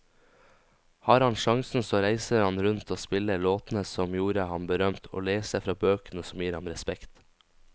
Har han sjansen så reiser han rundt og spiller låtene som gjorde ham berømt, og leser fra bøkene som gir ham respekt.